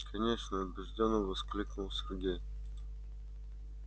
конечно убеждённо воскликнул сергей